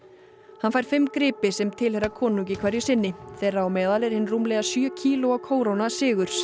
hann fær fimm gripi sem tilheyra konungi hverju sinni þeirra á meðal er hin rúmlega sjö kílóa kóróna sigurs